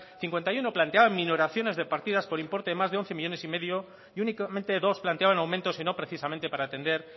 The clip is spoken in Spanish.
cincuenta y uno planteaban minoraciones de partidas por importe de más de once coma cinco millónes y únicamente dos planteaban aumentos y no precisamente para atender